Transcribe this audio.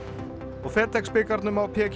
og FedEx bikarnum á